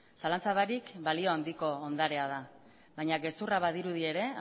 zalantza barik balio handiko ondarea da baina gezurra badirudi ere